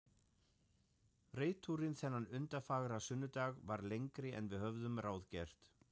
Reiðtúrinn þennan undurfagra sunnudag varð lengri en við höfðum ráðgert.